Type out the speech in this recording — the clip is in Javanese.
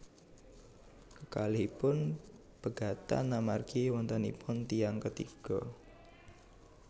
Kekalihipun pegatan amargi wontenipun tiyang ketiga